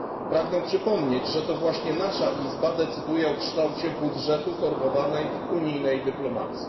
Pragnę przypomnieć, że to właśnie nasza Izba decyduje o kształcie budżetu formowanej unijnej dyplomacji.